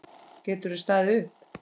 Geturðu staðið upp?